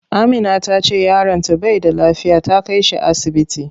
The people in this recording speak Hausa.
Amina tace yaron ta bai da lafiya, ta kai shi asibiti.